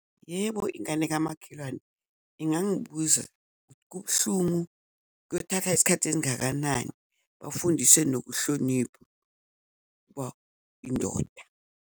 Yebo, ingane kamakhelwane ingangibuza ukuthi kubuhlungu, kuyothatha isikhathi esingakanani, bafundiswe nokuhlonipha uba indoda.